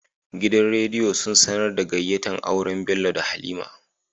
Gidan rediyo sun sAnar da gayyata auren Bello da halima